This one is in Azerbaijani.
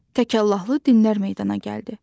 Təkallahlı dinlər meydana gəldi.